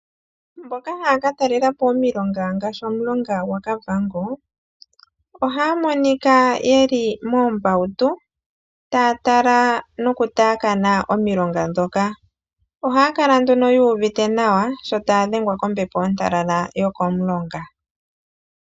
Mboka haya ka talela po omilonga ngaashi omulonga gwaKavango, ohaya monika ye li moombautu, taya tala nokutaakana omilonga ndhoka. Ohaya kala nduno yu uvite nawa sho taya dhengwa kombepo ontalala yokomulonga.